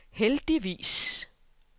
heldigvis